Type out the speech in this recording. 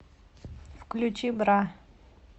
включи бра